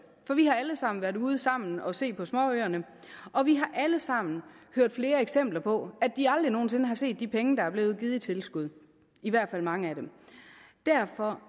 for vi har alle sammen været ude sammen og set på småøerne og vi har alle sammen hørt flere eksempler på at de aldrig nogen sinde har set de penge der blev givet i tilskud i hvert fald mange af dem derfor